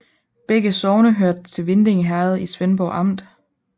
Begge sogne hørte til Vindinge Herred i Svendborg Amt